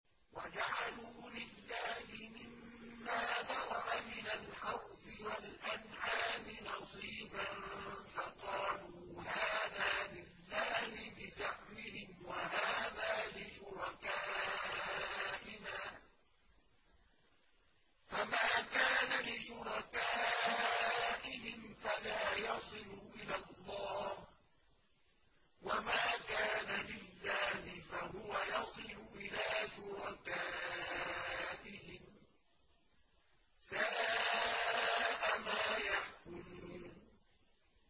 وَجَعَلُوا لِلَّهِ مِمَّا ذَرَأَ مِنَ الْحَرْثِ وَالْأَنْعَامِ نَصِيبًا فَقَالُوا هَٰذَا لِلَّهِ بِزَعْمِهِمْ وَهَٰذَا لِشُرَكَائِنَا ۖ فَمَا كَانَ لِشُرَكَائِهِمْ فَلَا يَصِلُ إِلَى اللَّهِ ۖ وَمَا كَانَ لِلَّهِ فَهُوَ يَصِلُ إِلَىٰ شُرَكَائِهِمْ ۗ سَاءَ مَا يَحْكُمُونَ